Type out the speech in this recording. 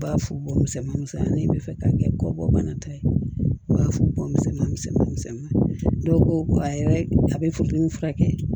U b'a fɔ bɔn misɛmanisɛnmanin bɛ fɛ k'a kɛ kɔ bɔ bana ta ye u b'a fɔ bɔgɔ misɛnman misɛn misɛn misɛn dɔw ko ko a yɛrɛ a bɛ funteni furakɛ